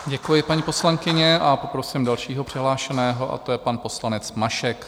Děkuji, paní poslankyně, a poprosím dalšího přihlášeného a to je pan poslanec Mašek.